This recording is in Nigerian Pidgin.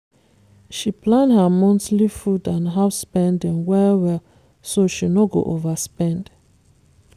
she plan her monthly food and house spending well-well so she no go overspend